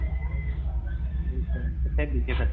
ਕਿੱਥੇ ਬੀਜੇ ਸਨ